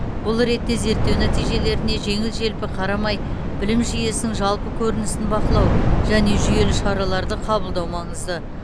бұл ретте зерттеу нәтижелеріне жеңіл желпі қарамай білім жүйесінің жалпы көрінісін бақылау және жүйелі шараларды қабылдау маңызды